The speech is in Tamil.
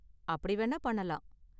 அப்படி வேணா பண்ணலாம்.